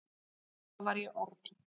Þá var ég orð